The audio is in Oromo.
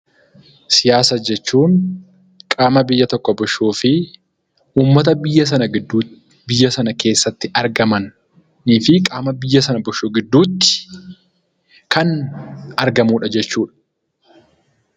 Siyaasa jechuun qaama biyya tokko bulchuu fi ummata biyya sana keessa jiruu fi qaama biyya sana bulchuu gidduutti kan taassifamudha.